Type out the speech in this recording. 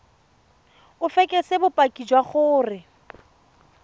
o fekese bopaki jwa gore